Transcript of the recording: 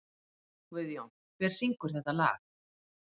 Guðjón, hver syngur þetta lag?